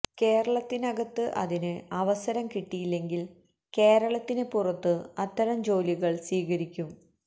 കേരളത്തിനകത്ത് അതിനു അവസരം കിട്ടിയില്ലെങ്കില് കേരളത്തിന് പുറത്തു അത്തരം ജോലികള് സ്വീകരിക്കും